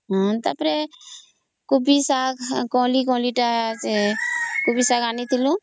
ତା ପରେ ସେ କୋବି ତା କଲି କୋବି ଶାଗ ଅଣିଥିଲୁ clucking